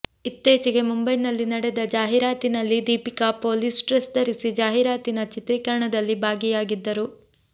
ಇತ್ತೀಚೆಗೆ ಮುಂಬೈನಲ್ಲಿ ನಡೆದ ಜಾಹಿರಾತಿನಲ್ಲಿ ದೀಪಿಕಾ ಪೊಲೀಸ್ ಡ್ರೆಸ್ ಧರಿಸಿ ಜಾಹಿರಾತಿನ ಚಿತ್ರೀಕರಣದಲ್ಲಿ ಭಾಗಿಯಾಗಿದ್ದರು